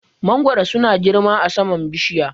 Mangoro su na girma a saman bishiya